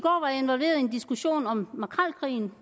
en diskussion om makrelkrigen